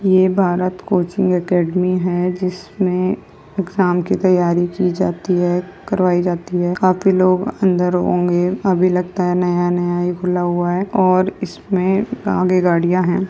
ये Bharat coaching academy है जिसमें एग्जाम की तैयारी की जाती है करवाई जाती है काफी लोग अंदर होंगे अभी लगता है नया-नया ही खुला हुआ है और इसमें आगे गाड़ियां हैं।